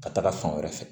Ka taga fan wɛrɛ fɛ